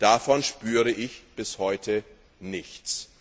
Davon spüre ich bis heute nichts.